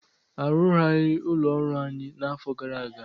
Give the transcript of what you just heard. Arụgharị ụlọ ọrụ anyị na afọ gara aga